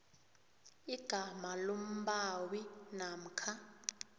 igama lombawi namkha